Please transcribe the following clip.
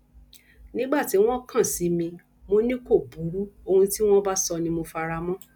nígbà tí wọn kàn sí mi mọ ni kò burú ohun tí wọn bá sọ ni mo fara mọ